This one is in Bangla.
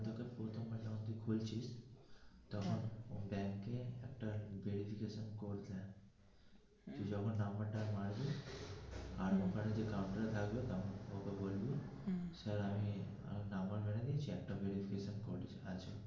তখন ব্যাংকে একটা verification call যাই যখন নম্বর তা মারবি আর ওখানে যে counter এ থাকে ওকে বলবি স্যার আমি নম্বর মেরে দিয়েছি একটা verification আছে